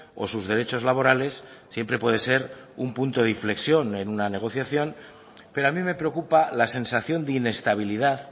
o sus derechos laborales siempre puede ser un punto de inflexión en una negociación pero a mí me preocupa la sensación de inestabilidad